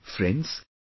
Friends,